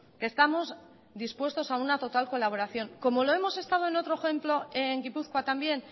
que estamos dispuestos a una total colaboración como lo hemos estado en otro ejemplo en gipuzkoa también